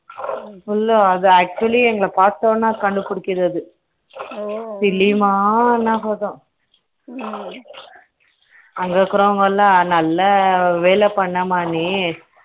actually எங்கள பார்த்த உடனே கண்டுபிடிக்கிறது ஓ கிளிமா னா போதும் ம்ம அங்க இருக்கிறவங்க எல்லாம் நல்லா வேலை பண்ணுமா நீ ம்ம